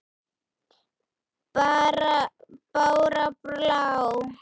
Bára blá!